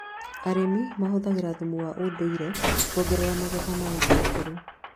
Arĩmi mahũthagira thumu wa ũndũire kuongerera magetha ma itũngurũ